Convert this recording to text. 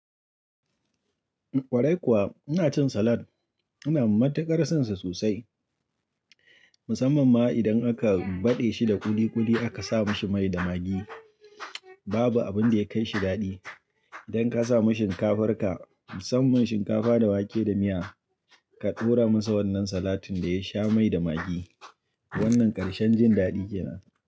Kwarai kuwa ina cin salad, ina matuƙar san sa sosai musamman ma idan aka baɗe shi da ƙuli ƙuli aka sa mashi mai da magi. Babu abin da ya kaishi dadi idan ka sa ma shinkafar ka musamman shinkafa da wake da miya ka tura musu wannan salatin da ya sha mai da magi wannan ƙarshan jin daɗi kenan.